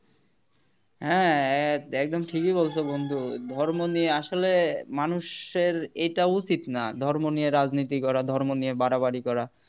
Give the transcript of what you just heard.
হ্যাঁ একএকদম ঠিকই বলছ বন্ধু ধর্ম নিয়ে আসলে মানুষের এটা উচিত না ধর্ম নিয়ে রাজনীতি করা ধর্ম নিয়ে বাড়াবাড়ি করা